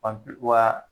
wa